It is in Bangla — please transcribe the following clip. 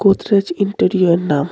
গোদরেজ ইন্টিরিয়র নাম.